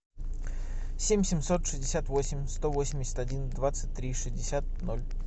семь семьсот шестьдесят восемь сто восемьдесят один двадцать три шестьдесят ноль